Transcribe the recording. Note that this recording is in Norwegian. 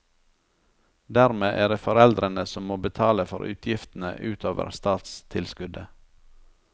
Dermed er det foreldrene som må betale for utgiftene utover statstilskuddet.